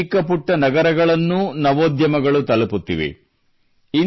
ದೇಶದ ಚಿಕ್ಕಪುಟ್ಟ ನಗರಗಳನ್ನೂ ನವೋದ್ಯಮಗಳು ತಲುಪುತ್ತಿವೆ